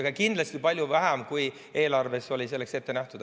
Aga kindlasti palju vähem, kui eelarves oli selleks ette nähtud.